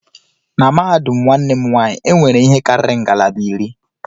Na mahadum nwanne m nwanyị, e nwere ihe karịrị ngalaba iri